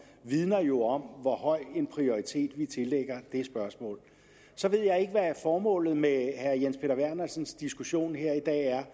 vidner jo om hvor høj en prioritet vi tillægger det spørgsmål så ved jeg ikke hvad formålet med herre jens peter vernersens diskussion her i dag er